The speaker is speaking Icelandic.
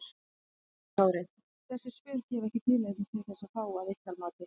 Höskuldur Kári: Þessi svör gefa ekki tilefni til þess þá að ykkar mati?